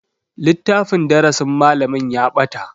Littafin darasin malamin ya bata.